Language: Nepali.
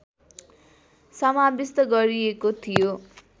समाविष्ट गरिएको थियो